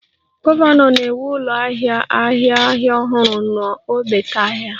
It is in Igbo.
Gọvanọ na-ewu ụlọ ahịa ahịa ahịa ọhụrụ n'ogbete ahịa